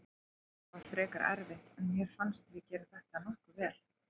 Þetta var frekar erfitt en mér fannst við gera þetta nokkuð vel.